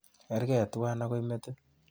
Kergee tuwai akoi metit.